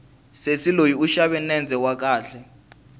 sesi loyi u xave nendze wa kahle